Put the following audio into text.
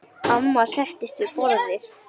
Amma settist við borðið.